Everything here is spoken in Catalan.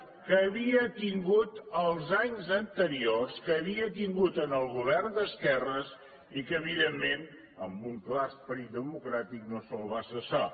que havia tingut els anys anteriors que havia tingut en el govern d’esquerres i que evidentment amb un clar esperit democràtic no se’l va cessar